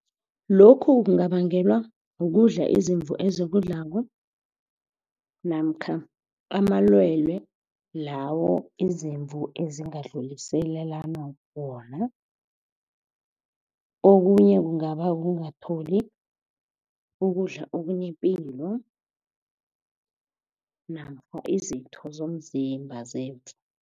Lokhu kungabangelwa ukudla izimvu ezikudlako namkha amalwelwe lawo izimvu ezingadluliselani wona. Okunye kungaba ukungatholi ukudla okunepilo namkha izitho zomzimba zemvu.